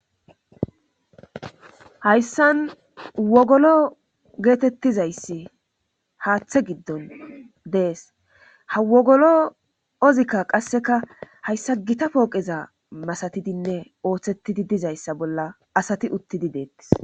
hayssan wogolo geetettizayssi haaththe giddon dees ha wogolo ozikka qasseka hayssa gita pooqeza masatidinne ooththettidi dizayssa bolla asati uttidi deettis